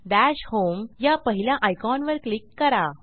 दश होम या पहिल्या आयकॉनवर क्लिक करा